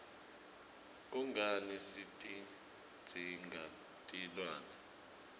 kungani sitidzinga tilwne